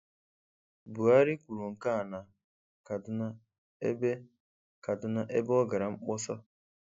Buhari kwuru nke a na Kaduna ebe Kaduna ebe ọ gara mkpọsa.